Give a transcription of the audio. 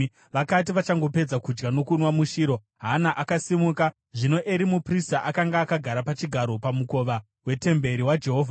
Vakati vachangopedza kudya nokunwa muShiro, Hana akasimuka. Zvino Eri muprista akanga akagara pachigaro pamukova wetemberi yaJehovha.